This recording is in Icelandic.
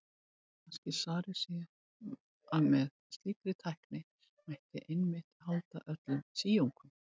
Kannski svarið sé að með slíkri tækni mætti einmitt halda öllum síungum.